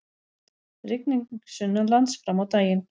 Rigning sunnanlands fram á daginn